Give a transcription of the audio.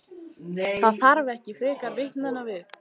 Það þarf ekki frekar vitnanna við.